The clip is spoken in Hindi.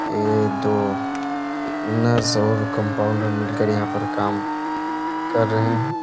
ए दो नर्स और कम्पाउंडर मिलकर यहाँ पर काम कर रहे है।